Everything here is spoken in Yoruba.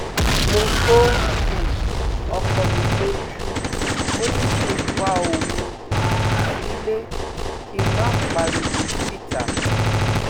mo ko um ọkọ mi lójú ó ní kí n pa òun um sílẹ kí n má pariwo síta